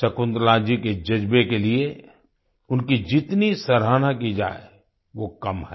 शकुंतला जी के जज्बे के लिए उनकी जितनी सराहना की जाए वो कम है